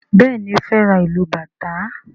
Béèni o fè rá ilú bàtá.